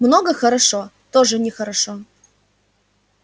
много хорошо тоже нехорошо